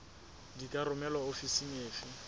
di ka romelwa ofising efe